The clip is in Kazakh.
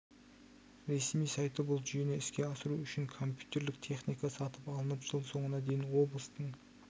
ресми сайты бұл жүйені іске асыру үшін компьютерлік техника сатып алынып жыл соңына дейін облыстың